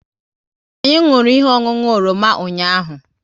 Anyị nwụrụ ihe ọṅụṅụ oroma ụnyaahụ